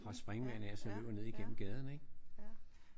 Fra springvandet af og så løber ned igennem gaden ik?